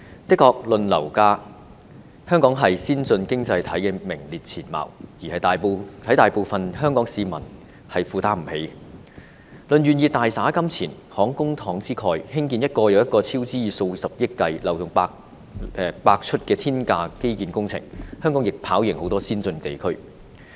誠然，論樓價，香港在先進經濟體中名列前茅，而且也是大部分香港市民無法負擔的；論願意大灑金錢，慷公帑之慨，興建一個又一個超支數以十億元計、漏洞百出的天價基建工程，香港亦跑贏很多先進地區。